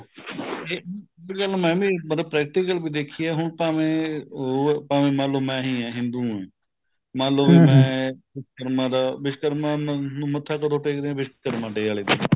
ਇਹ ਗੱਲ ਮੈਂ ਵੀ ਮਤਲਬ practical ਦੇਖੀ ਹੈ ਹੁਣ ਭਾਵੇਂ ਉਹ ਭਾਵੇਂ ਮੈਂ ਹੀ ਹਾਂ ਹਿੰਦੂ ਹਾਂ ਮੰਨ੍ਲੋ ਮੈਂ ਵਿਸ਼ਕਰਮਾ ਦਾ ਵਿਸ੍ਕਰਮਾ ਮੱਥਾ ਕਦੋ ਟੇਕਦੇ ਹਾਂ ਵਿਸ੍ਕਰਮਾ day ਵਾਲੇ ਦਿੰਨ